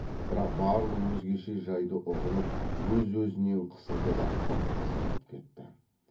бірақ барлық өзгеше жайды ұғынып өз өзінен қысылды да қып қызыл боп кетті